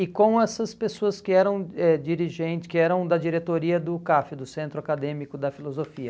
E com essas pessoas que eram é dirigen que eram da diretoria do CAF, do Centro Acadêmico da Filosofia.